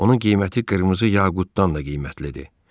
Onun qiyməti qırmızı yaqutdan da qiymətlidir.